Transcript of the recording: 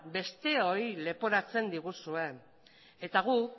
besteoi leporatzen diguzue eta guk